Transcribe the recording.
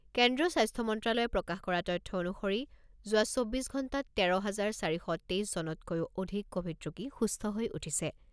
কেন্দ্ৰীয় স্বাস্থ্য মন্ত্ৰ্যালয়ে প্ৰকাশ কৰা তথ্য অনুসৰি যোৱা চৌব্বিছ ঘণ্টাত তেৰ হাজাৰ চাৰি শ তেইছজনতকৈও অধিক ক'ভিড ৰোগী সুস্থ হৈ উঠিছে।